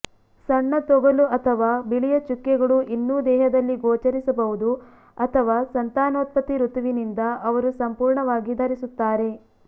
ಸಣ್ಣ ತೊಗಲು ಅಥವಾ ಬಿಳಿಯ ಚುಕ್ಕೆಗಳು ಇನ್ನೂ ದೇಹದಲ್ಲಿ ಗೋಚರಿಸಬಹುದು ಅಥವಾ ಸಂತಾನೋತ್ಪತ್ತಿ ಋತುವಿನಿಂದ ಅವರು ಸಂಪೂರ್ಣವಾಗಿ ಧರಿಸುತ್ತಾರೆ